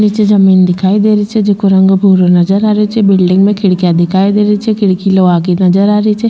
निचे जमीं दिखाई दे रही छे जिको रंग भूरो नजर आ रही छे बिलडिंग में खिड़किया दिखाई दे रही छे खिड़किया लोहा की नजर आ रही छे।